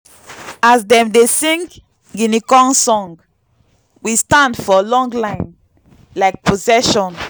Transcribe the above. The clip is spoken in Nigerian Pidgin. as dem dey sing guinea corn song we stand for long line like procession.